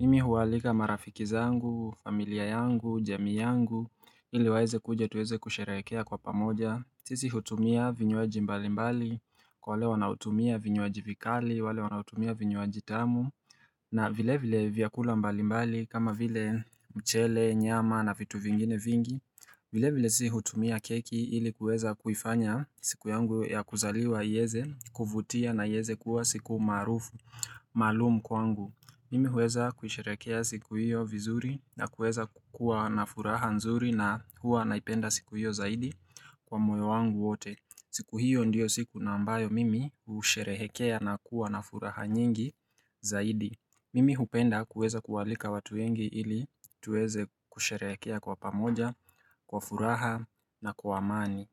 Mimi huwalika marafiki zangu, familia yangu, jami yangu, ili waeze kuja tuweze kusherehekea kwa pamoja sisi hutumia vinywaji mbali mbali, kwa wale wanaotumia vinywaji vikali, wale wanaotumia vinywaji tamu na vile vile vyakula mbali mbali kama vile mchele, nyama na vitu vingine vingi vile vile si hutumia keki ili kuweza kuifanya siku yangu ya kuzaliwa ieze, kuvutia na ieze kuwa siku maarufu, maalum kwangu. Mimi huweza kusherehekea siku hiyo vizuri na kuweza kukuwa na furaha nzuri na huwa naipenda siku hiyo zaidi kwa moyo wangu wote. Siku hiyo ndio siku na ambayo mimi husherehekea na kuwa na furaha nyingi zaidi. Mimi hupenda kuweza kualika watu wengi ili tuweze kusherehekea kwa pamoja, kwa furaha na kwa amani.